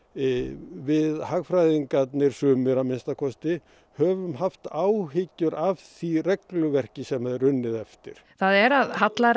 við hagfræðingarnir sumir að minnsta kosti höfum haft áhyggjur af því regluverki sem er unnið eftir það er að